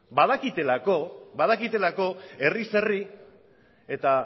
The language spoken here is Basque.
badakitelako herriz herri eta